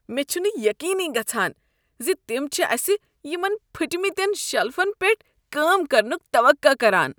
مےٚ چُھنہٕ یقینٕی گژھان ز تم چھ اسہ یمن پھٕٹۍمتین شیلفن پیٹھ کٲم کرنک توقع کران۔